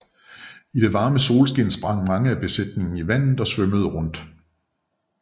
I det varme solskin sprang mange af besætningen i vandet og svømmede rundt